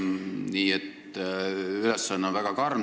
Nii et ülesanne on väga karm.